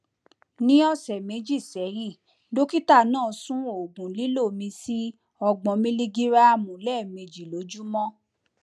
ní ọsẹ méjì sẹyìn dókítà náà sún oògùn lílò mi sí ọgbọn miligíráàmù lẹẹmejì lójúmọ